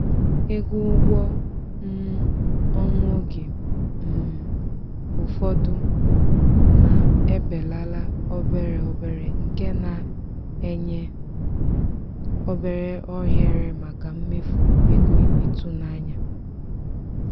ego ụgwọ um ọnwa oge um ụfọdụ na-ebelala obere obere nke na-enye obere ohere maka mmefu ego ịtụnanya.